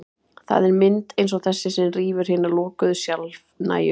Það er mynd eins og þessi sem rýfur hina lokuðu, sjálfnægu